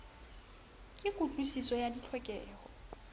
ke kutlwi siso ya ditlhokeho